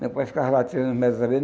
Depois ficava lá tirando mel das abelhas.